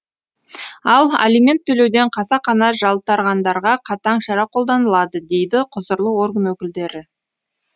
ал алимент төлеуден қасақана жалтарғандарға қатаң шара қолданылады дейді құзырлы орган өкілдері